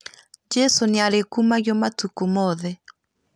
Jesũ nĩarĩ kumagio matũkũ moothe